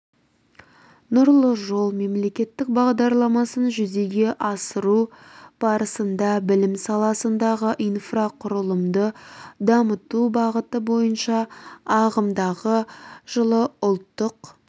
нұрлы жол мемлекеттік бағдарламасын жүзеге асыру барысында білім саласындағы инрфақұрылымды дамыту бағыты бойынша ағымдағы жылы ұлттық